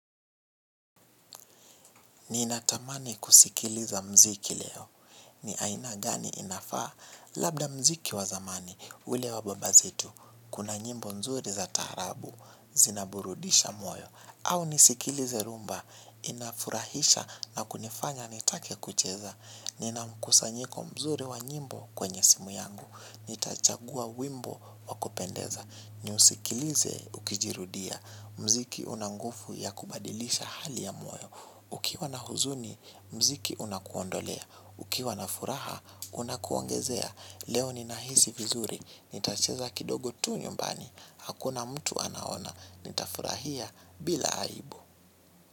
Ninatamani kusikiliza mziki leo. Ni aina gani inafaa? Labda mziki wa zamani, ule wa baba zetu, kuna nyimbo nzuri za taarabu, zinaburudisha moyo, au nisikilize rhumba, inafurahisha na kunifanya nitake kucheza. Nina mkusanyiko mzuri wa nyimbo kwenye simu yangu. Nitachagua wimbo wa kupendeza. Niusikilize ukijirudia. Mziki una nguvu ya kubadilisha hali ya moyo. Ukiwa na huzuni, mziki unakuondolea. Ukiwa na furaha, unakuongezea. Leo ninahisi vizuri. Nitacheza kidogo tu nyumbani. Hakuna mtu anaona. Nitafurahia bila aibu.